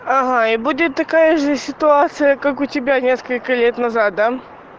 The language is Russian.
ага и будет такая же ситуация как у тебя несколько лет назад да